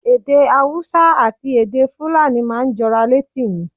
Èdè Hausa àti èdè Fulani máa ń jọra létí mi.